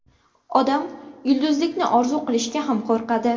Odam yulduzlikni orzu qilishga ham qo‘rqadi.